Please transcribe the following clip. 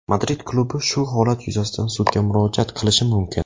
Madrid klubi shu holat yuzasidan sudga murojaat qilishi mumkin.